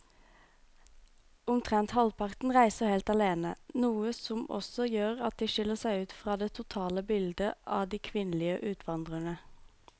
Omtrent halvparten reiser helt alene, noe som også gjør at de skiller seg ut fra det totale bildet av de kvinnelige utvandrerne.